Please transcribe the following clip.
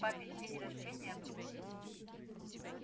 папин день рождения обсудить